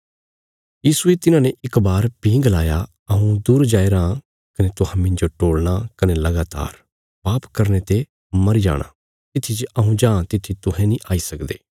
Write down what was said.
यीशुये तिन्हांने इक बार भीं गलाया हऊँ दूर जाया राँ कने तुहां मिन्जो टोलणा कने लगातार पाप करने ते मरी जाणा तित्थी जे हऊँ जां तित्थी तुहें नीं आई सकदे